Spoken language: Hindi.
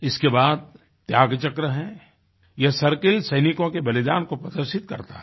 इसके बाद त्याग चक्र है यह सर्किल सैनिकों के बलिदान को प्रदर्शित करता है